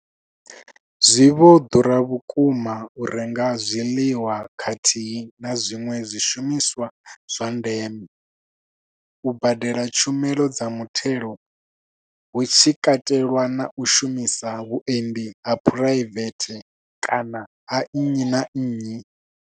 Zwi vho ḓura vhukuma u renga zwiḽiwa khathihi na zwiṅwe zwishumiswa zwa ndeme, u badela tshumelo dza mutheo hu tshi katelwa na u shumisa vhuendi ha phuraivethe kana ha nnyi na nnyi.